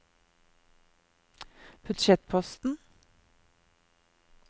budsjettposten